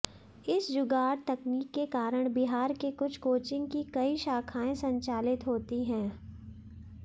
इस जुगाड़ तकनीक के कारण बिहार के कुछ कोचिंग की कई शाखाएं संचालित होती हैं